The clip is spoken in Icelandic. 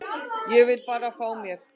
Ég vil bara fá mér.